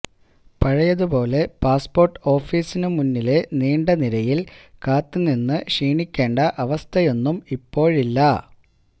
പഴയതുപോലെ പാസ്പോര്ട്ട് ഓഫീസിനു മുന്നിലെ നീണ്ട നിരയില് കാത്തുനിന്ന് ക്ഷീണിക്കേണ്ട അവസ്ഥയൊന്നും ഇപ്പോഴില്ല